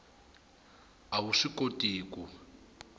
a wu swi koti ku